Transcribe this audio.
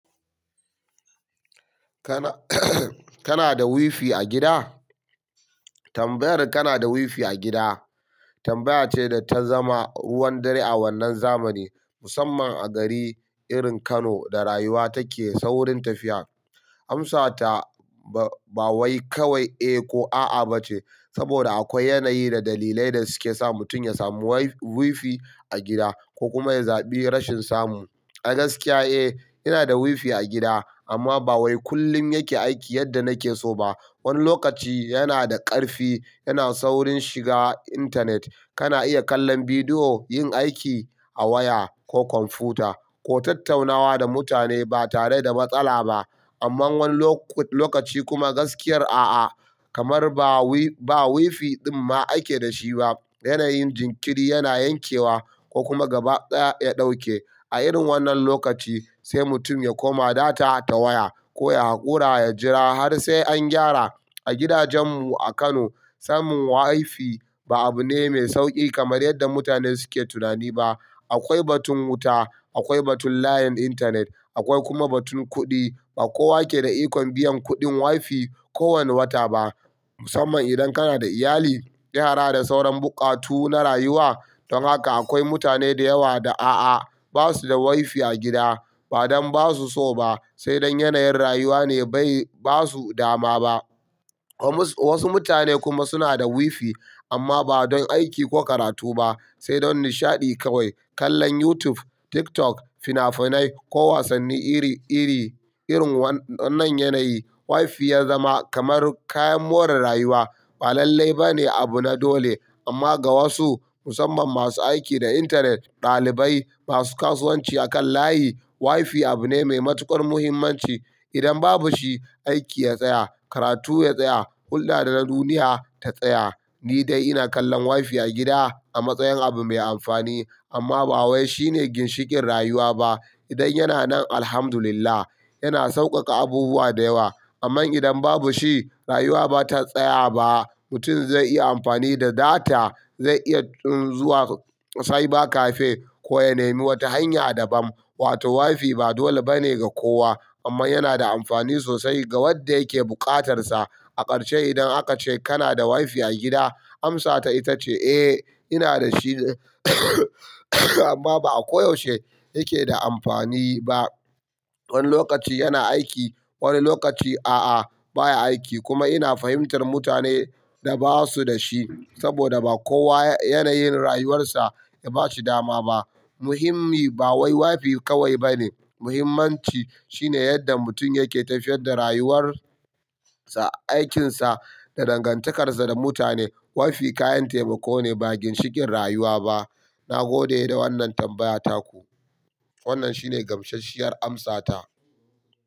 Kana kana da wifi a gida? Tambayar kana da wifi a gida, tambaya ce da ta zama ruwan dare a wannan zamani, musamman a gari irin Kano da rayuwa take saurin tafiya. Amsata ba wai kawai eh ko a'a ba ce, saboda akwai yanayi da dalilai da suke sa mutum ya samu wi-wifi a gida ko kuma ya zabi rashin samu. A gaskiya, eh, ina da wifi a gida amma ba wai kullum yake aiki yadda nake so ba. Wani lokaci yana da ƙarfi, yana saurin shiga intanet. Kana iya kallon bidiyo, yin aiki a waya ko kwamfuta ko tattaunawa da mutane ba tare da matsala ba. Amma wani lo-lokaci kuma gaskiyar a'a, kamar ba wi-ba wifi ɗin ma ake da shi ba. Yanayin jinkiri yana yankewa ko kuma gaba ɗaya ya ɗauke. A irin wannan lokaci sai mutum ya koma data ta waya ko ya haƙura ya jira har sai an gyara. A gidajen mu a Kano, samun wifi ba abu ne mai sauƙi kamar yadda mutane suke tunani ba. Akwai batun wuta, akwai batun layin intanet, akwai kuma batun kuɗi. Ba kowa ke da ikon biyan kuɗin wifi kowane wata ba, musamman idan kana da iyali, yara da sauran buƙatu na rayuwa. Don haka akwai mutane da yawa da a'a, ba su da wifi a gida. Ba don ba su so ba, sai don yanayin rayuwa ne bai ba su dama ba. Wasu mutane kuma suna da wifi amma ba don aiki ko karatu ba, sai don nishaɗi kawai. Kallon YouTube, TikTok, fina-finai ko wasanni iri iri. Irin wannan yanayi, wifi ya zama kamar kayan more rayuwa. Ba lallai ba ne abu na dole. Amma ga wasu, musamman masu aiki da intanet, ɗalibai, masu kasuwanci akan layi, wifi abu ne mai matuƙar muhimmanci. Idan babu shi, aiki ya tsaya, karatu ya tsaya, hulla da na duniya ta tsaya. Ni dai ina kallon wifi a gida a matsayin abu mai amfani amma ba wai shi ne ginshiƙin rayuwa ba. Idan yana nan, Alhamdulillah, yana sauƙaƙa abubuwa da yawa. Amma idan babu shi, rayuwa ba ta tsaya ba. Mutum zai iya amfani da data, zai iya zuwa cyber cafe ko ya nemi wata hanya daban. Wato wifi ba dole ba ne ga kowa amma yana da amfani sosai ga wadda yake buƙatar sa. A ƙarshe idan aka ce kana da wifi a gida, amsata ita ce eh, ina da shi amma ba a koyaushe yake da amfani ba. Wani lokaci yana aiki, wani lokaci a'a baya aiki. Kuma ina fahimtar mutane da ba su da shi saboda ba kowa yanayin rayuwarsa ya ba shi dama ba. Muhimmi ba wai wifi kawai ba ne. Muhimmanci shine yadda mutum yake tafiyar da rayuwar sa, aikinsa da dangantakarsa da mutane. Wifi kayan taimako ne ba ginshiƙin rayuwa ba. Na gode da wannan tambaya taku. Wannan shi ne gamsasshiyar amsata.